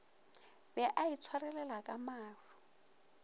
be a itshwarelela ka maru